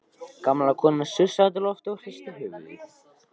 Gamla konan sussaði út í loftið og hristi höfuðið.